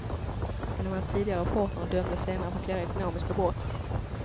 En av hans tidigare partner dömdes senare för flera ekonomiska brott.